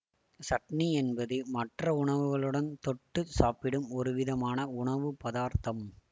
சட்னி என்பது மற்ற உணவுகளுடன் தொட்டு சாப்பிடும் ஒருவிதமான உணவு பதார்த்தம்